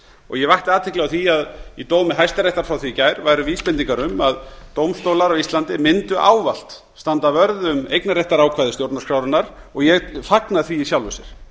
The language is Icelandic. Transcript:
og ég vakti athygli á því að í dómi hæstaréttar frá því í gær væru vísbendingar um að dómstólar á íslandi mundu ávallt standa vörð um eignarréttarákvæði stjórnarskrárinnar og ég fagna því í sjálfu sér